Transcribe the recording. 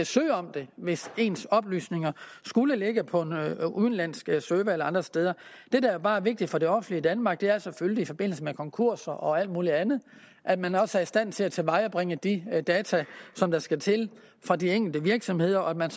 søge om det hvis ens oplysninger skulle ligge på en udenlandsk server eller andre steder det der bare er vigtigt for det offentlige danmark er selvfølgelig i forbindelse med konkurser og alt muligt andet at man også er i stand til at tilvejebringe de data der skal til for de enkelte virksomheder og at man